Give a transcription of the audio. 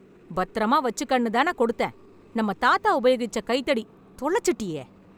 பத்திரமா வச்சுக்கன்னு தான கொடுத்தேன், நம்ம தாத்தா உபயோகிச்ச கைத்தடி. தொலைச்சுட்டியே.